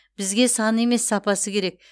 бізге саны емес сапасы керек